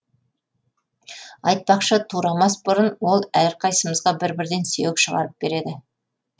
айтпақшы турамас бұрын ол әрқайсымызға бір бірден сүйек шығарып береді